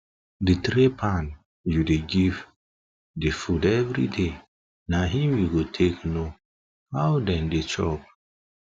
the tray pan u da give the food every day na him u go take know how them da chop